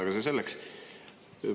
Aga see selleks.